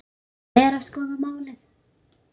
Þeir eru að skoða málið.